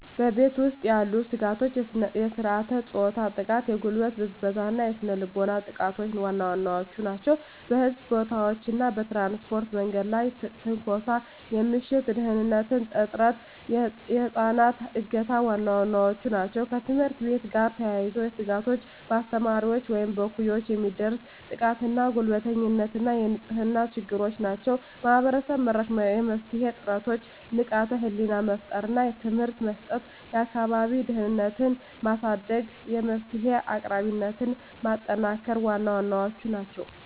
በቤት ውስጥ ያሉ ስጋቶች የሥርዓተ-ፆታ ጥቃ፣ የጉልበት ብዝበዛ እና ስነ ልቦናዊ ጥቃቶች ዋና ዋናዎቹ ናቸው። በሕዝብ ቦታዎች እና በትራንስፖርት የመንገድ ላይ ትንኮሳ፣ የምሽት ደህንንነት እጥረት፣ የህፃናት እገታ ዋና ዋናዎቹ ናቸው። ከትምህርት ቤት ጋር የተያያዙ ስጋቶች በአስተማሪዎች ወይም እኩዮች የሚደርስ ጥቃትና ጉልበተኝነት እና የንጽህና ችግሮች ናቸው። ማህበረሰብ-መራሽ የመፍትሄ ጥረቶች ንቃተ ህሊና መፍጠር እና ትምህርት መስጠት፣ የአካባቢ ደህንነትን ማሳደግ፣ የመፍትሄ አቅራቢነትን ማጠናከር ዋና ዋናዎቹ ናቸው።